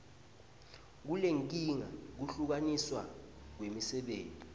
kulenkinga kuhlukaniswa kwemisebenti